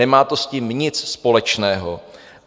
Nemá to s tím nic společného.